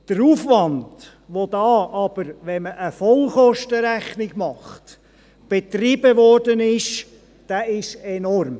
Der Aufwand, der hier aber – wenn man eine Vollkostenrechnung macht – betrieben wurde, ist enorm.